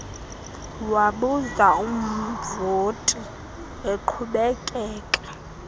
wabuza umvoci eqhubekeka